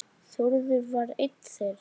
Þórður var einn þeirra.